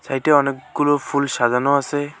Site -এ অনেকগুলো ফুল সাজানো আছে।